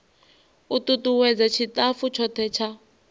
u tutuwedza tshitafu tshothe tsha